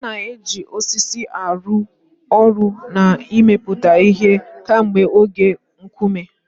A na-eji osisi arụ ọrụ na imepụta ihe kemgbe oge Nkume.